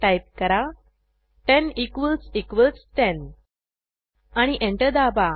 type करा 10 equals equals 10 आणि enter दाबा